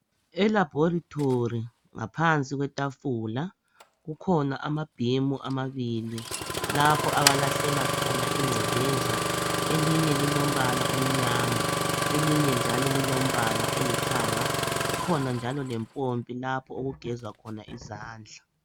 Elabhorethi ngaphansi kwetafula kukhona amabhimu amabili lapho abalahlela khona ingcekeza, elinye lilombala omnyama elinye njalo lilombala olithanga. Kukhona njalo lempompi lapho olugezwa khona izandla.